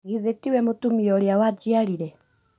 Githĩ tiwe mũtumĩa ũrĩa wanjiarĩre